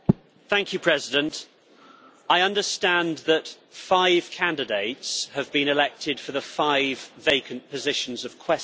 Mr President, I understand that five candidates have been elected for the five vacant positions of Quaestor.